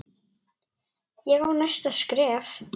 Ég á næsta skref.